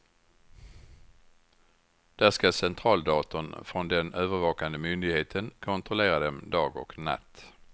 Där skall centraldatorn från den övervakande myndigheten kontrollera dem dag och natt.